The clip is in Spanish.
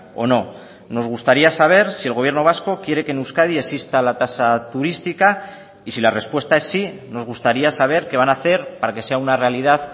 o no nos gustaría saber si el gobierno vasco quiere que en euskadi exista la tasa turística y si la respuesta es sí nos gustaría saber qué van a hacer para que sea una realidad